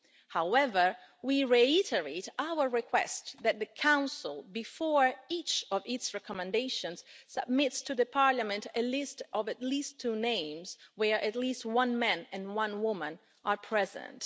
However, we reiterate our request that the Council, before each of its recommendations, submits to the Parliament a list of at least two names where at least one man and one woman are present.